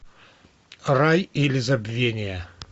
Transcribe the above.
рай или забвение